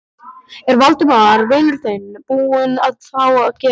Er Valdimar vinur þinn búinn að fá eitthvað að gera?